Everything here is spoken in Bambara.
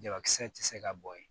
Jabakisɛ tɛ se ka bɔn yen